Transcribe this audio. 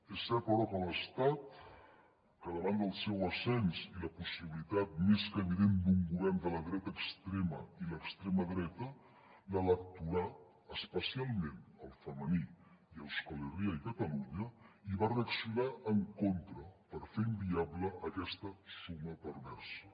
és cert però que l’estat davant del seu ascens i la possibilitat més que evident d’un govern de la dreta extrema i l’extrema dreta l’electorat especialment el femení i a euskal herria i catalunya hi va reaccionar en contra per fer inviable aquesta suma perversa